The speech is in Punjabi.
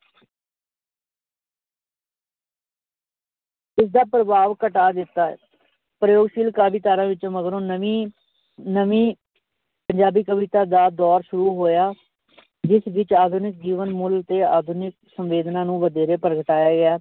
ਇਸਦਾ ਪ੍ਰਭਾਵ ਘਟਾ ਦਿੱਤਾ ਹੈ ਪ੍ਰਯੋਗਸ਼ੀਲ ਕਾਵਿ ਧਾਰਾ ਵਿੱਚ ਮਗਰੋਂ ਨਵੀਂ ਨਵੀਂ ਪੰਜਾਬੀ ਕਵਿਤਾ ਦਾ ਦੌਰ ਸ਼ੁਰੂ ਹੋਇਆ ਜਿਸ ਵਿੱਚ ਆਧੁਨਿਕ ਜੀਵਨ ਮੁੱਲ ਤੇ ਆਧੁਨਿਕ ਸੰਵੇਦਨਾ ਨੂੰ ਵਧੇਰੇ ਪ੍ਰਗਟਾਇਆ ਗਿਆ।